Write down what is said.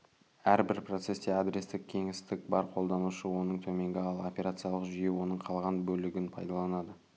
әрбір процесте гигабайттық адрестік кеңістік бар қолданушы оның төменгі ал операциялық жүйе оның қалған бөлігін пайдаланады